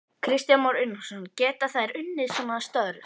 Kristján Már Unnarsson: Geta þær unnið svona störf?